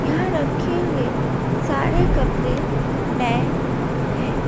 उधर रखें हुए सारे कपड़े नए हैं।